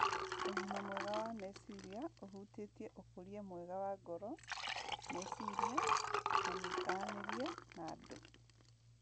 Ũgima mwega wa meciria ũhutĩtie ũkũria mwega wa ngoro, meciria, na mĩikaranĩrie na andũ